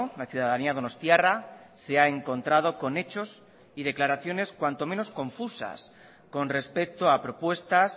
la ciudadanía donostiarra se ha encontrado con hechos y declaraciones cuanto menos confusas con respecto a propuestas